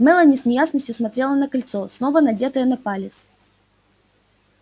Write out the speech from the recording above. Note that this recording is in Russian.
мелани с неясностью смотрела на кольцо снова надетое на палец